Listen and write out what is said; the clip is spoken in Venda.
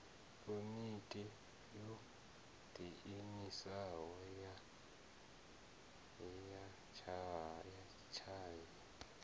komiti yo diimisaho ya tshavhi